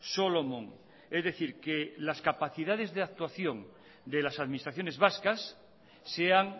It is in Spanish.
solomon es decir que las capacidades de actuación de las administraciones vascas sean